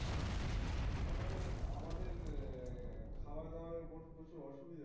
না মানে আমাদের খাবার দাবার এর উপর প্রচুর অসুবিধে